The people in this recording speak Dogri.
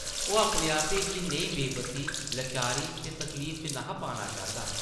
ओह् अपने आपै गी नेही बेबसी, लाचारी ते तकलीफ च न’हा पाना चांह्दा ।